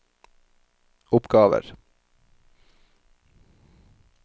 oppgaver